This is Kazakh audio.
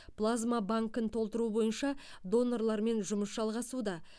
плазма банкін толтыру бойынша донорлармен жұмыс жалғасуда